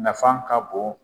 Nafa kan bon.